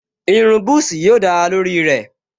Irun búsí yóò dára lórí rẹ̀